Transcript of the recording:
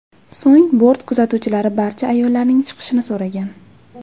So‘ng bort kuzatuvchilari barcha ayollarning chiqishini so‘ragan.